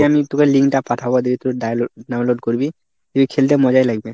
আমি তোকে link টা পাঠাবো দেখবি তুই download download করবি, দেখবি খেলতে মজাই লাগবে।